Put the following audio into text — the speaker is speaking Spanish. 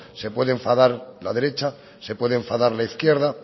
se puede enfadar la derecha se puede enfadar la izquierda